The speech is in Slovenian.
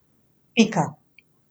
Pika.